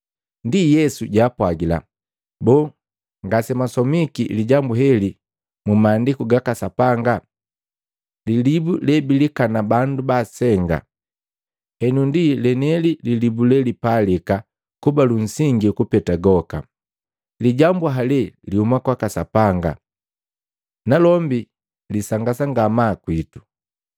Ndi Yesu jwaapwagila, “Boo, ngasemwasomiki lijambu heli mu Maandiku gaka Sapanga? ‘Lilibu le bilikana bandu baasenga henu ndi lenieli lilibu lelipalika kuba lunsingi kupeta goka. Lijambu hale lihuma kwaka Sapanga, nalombi lisangasa ngamaa kwitu.’ ”